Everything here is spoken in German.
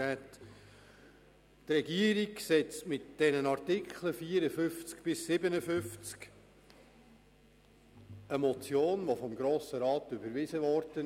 Die Regierung setzt mit den Artikeln 54 bis 57 eine Motion von Grossrat Philippe Müller um, die vom Grossen Rat überwiesen wurde.